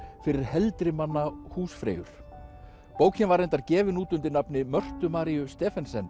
fyrir heldri manna húsfreyjur bókin var reyndar gefin út undir nafni Mörtu Maríu Stephensen